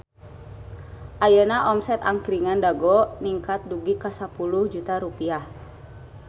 Ayeuna omset Angkringan Dago ningkat dugi ka 10 juta rupiah